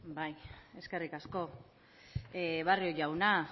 eskerrik asko barrio jauna